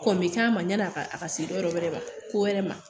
Kɔn bɛ k'a ma ɲan'a ka a ka se dɔ wɛrɛ ma ko wɛrɛ ma'